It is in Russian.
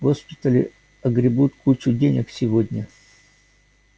госпитали огребут кучу денег сегодня